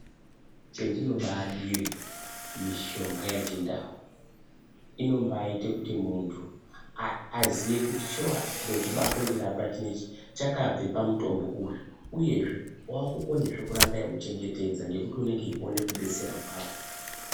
Chendinobaadire mishonga yechindau, inombaati kuti muntu aziye kuti shuwa chintu chirikundirapa chinechi chakabve pamutombo uyu, uyezve wakukonazve kuramba eiuchengetedza ngekuti unenge uchiona kubetsera kwawo.